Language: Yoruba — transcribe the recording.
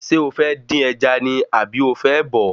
Ṣé o fẹ́ dín ẹja ni àbí o fẹ́ bọ̀ọ́?